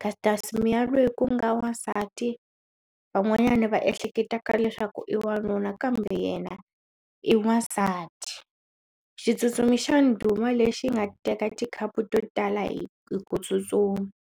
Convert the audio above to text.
Caster Semenya loyi ku nga wansati van'wanyana va ehleketaka leswaku i wanuna kambe yena i wasati xitsutsumi xa ndhuma lexi nga teka tikhapu to tala hi hi ku tsutsuma.